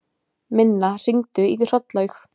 Minna, hringdu í Hrollaug.